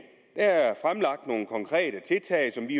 der er fremlagt nogle konkrete tiltag som vi